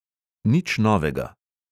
Nič novega!